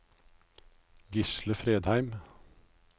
Gisle Fredheim